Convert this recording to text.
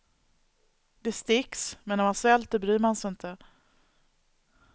Det sticks, men när man svälter bryr man sig inte.